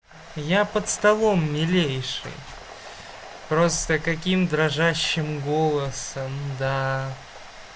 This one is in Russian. я под столом милейший просто каким дрожащим голосом да